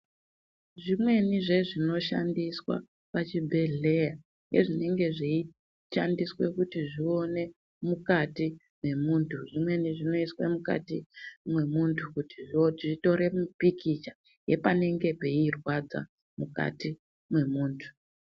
Zvimweni zvezvinoshandiswa pachibhedhleya, ngezvinenge zveyishandiswa kuti zvione mukati memundu, zvimweni zvinoyiswa mukati memuntu kuti zvitore mipikicha yepanenge peyirwadza mukati memuntu.